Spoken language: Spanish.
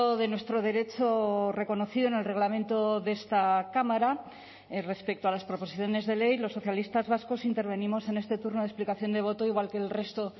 de nuestro derecho reconocido en el reglamento de esta cámara respecto a las proposiciones de ley los socialistas vascos intervenimos en este turno de explicación de voto igual que el resto